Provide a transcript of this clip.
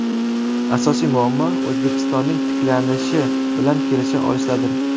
Asosiy muammo O‘zbekistonning tiklanishi bilan kelisha olishdadir.